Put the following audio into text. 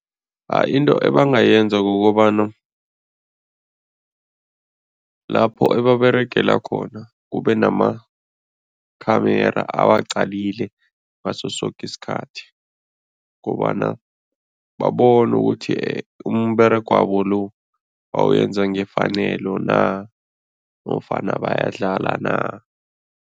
Into ebangayenza kukobana lapho ebaberegela khona, kube nama-camera awaqalalile ngaso soke isikhathi kobana babone ukuthi umberegwabo lo bawenza ngefanelo na nofana bayadlala na.